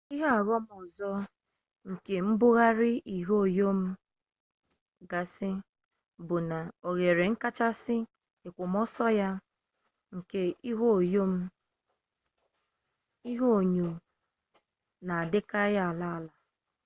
ihe ọghọm ọzọ nke mbugharị ihunyo gasị bụ na oghere nkachasị èkwòmọsọ ya nke ihunyo na-adịkarị ala ala